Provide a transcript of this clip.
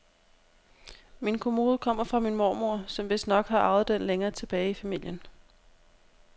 Min kommode kommer fra min mormor, som vistnok har arvet den længere tilbage i familien.